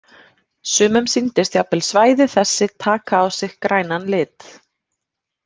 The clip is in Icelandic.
Sumum sýndist jafnvel svæði þessi taka á sig grænan lit.